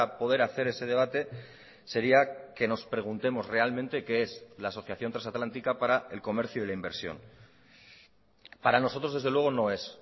poder hacer ese debate sería que nos preguntemos realmente qué es la asociación trasatlántica para el comercio y la inversión para nosotros desde luego no es